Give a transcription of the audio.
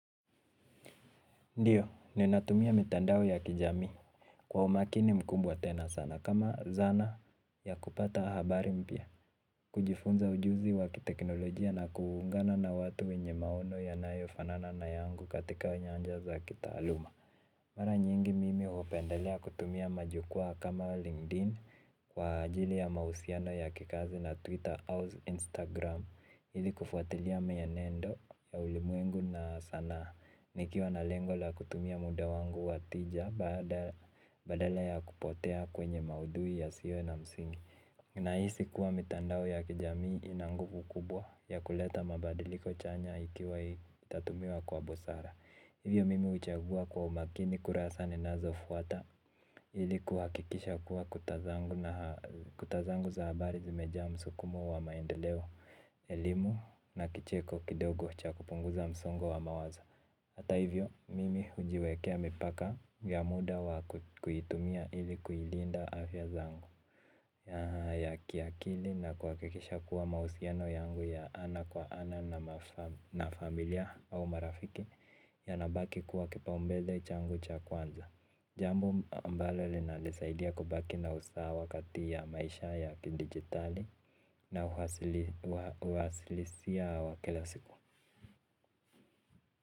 Ndiyo, ninatumia mitandao ya kijami kwa umakini mkumbwa tena sana kama zana ya kupata habari mpia. Kujifunza ujuzi wakiteknolojia na kuungana na watu wenye maono yanayo fanana na yangu katika nyanja za kita aluma. Mara nyingi mimi upendelea kutumia majukua kama LinkedIn kwa ajili ya mausiano ya kikazi na Twitter ou Instagram. Ili kufuatilia meenendo ya ulimwengu na sana nikiwa na lengo la kutumia muda wangu watija badala ya kupotea kwenye maudui ya siwo na msingi. Nahisi kuwa mitandao ya kijamii ina nguvu kubwa ya kuleta mabadiliko chanya ikiwa itatumiwa kwa busara. Hivyo mimi huchagua kwa umakini kurasa ninzofuata ili kuhakisha kuwa kuta zangu za habari zimejaa msukumo wa maendeleo elimu na kicheko kidogo cha kupunguza msongo wa mawazo. Hata hivyo mimi hujiwekea mipaka ya muda wa kuitumia ilikuilinda afya zangu ya kiakili na kuhakikisha kuwa mahusiano yangu ya ana kwa ana na familia au marafiki yanabaki kuwa kipaombele changu cha kwanza. Jambo ambalo linanisaidia kubaki na usawa kati ya maisha ya kidigitali na uhalisia wa kila siku.